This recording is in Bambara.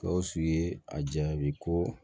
Gawusu ye a jaabi ko